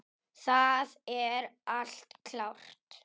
Það er allt klárt.